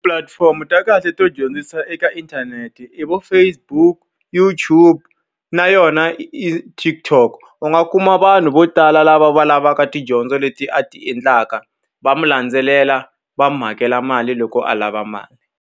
Pulatifomo ta kahle to dyondzisa eka inthanete i vo Facebook YouTube na yona TikTok. U nga kuma vanhu vo tala lava va lavaka tidyondzo leti a ti endlaka, va n'wi landzelela, va n'wi hakela mali loko a lava mali.